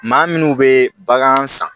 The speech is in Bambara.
Maa minnu bɛ bagan san